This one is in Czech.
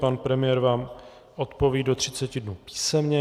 Pan premiér vám odpoví do 30 dnů písemně.